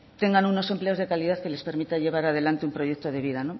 tengan unos empleos de calidad que les permita llevar adelante un proyecto de vida